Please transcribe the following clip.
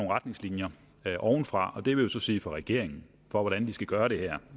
retningslinjer ovenfra og det vil jo så sige fra regeringen for hvordan de skal gøre det her